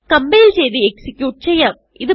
compile ചെയ്ത് execute ചെയ്യാം